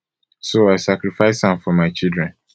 so i sacrifice am for my children